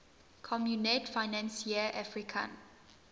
communaute financiere africaine